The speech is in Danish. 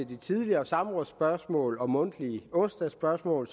de tidligere samrådsspørgsmål og mundtlige onsdagsspørgsmål